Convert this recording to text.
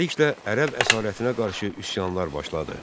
Beləliklə, ərəb əsarətinə qarşı üsyanlar başladı.